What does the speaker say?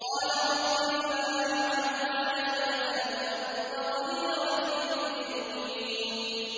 قَالَ رَبِّ بِمَا أَنْعَمْتَ عَلَيَّ فَلَنْ أَكُونَ ظَهِيرًا لِّلْمُجْرِمِينَ